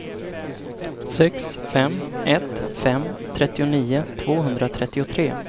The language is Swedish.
sex fem ett fem trettionio tvåhundratrettiotre